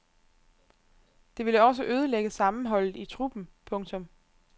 Det ville også ødelægge sammenholdet i truppen. punktum